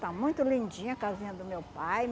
Está muito lindinha a casinha do meu pai.